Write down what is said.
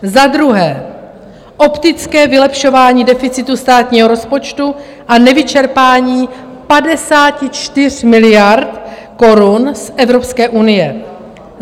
Za druhé, optické vylepšování deficitu státního rozpočtu a nevyčerpání 54 miliard korun z Evropské unie.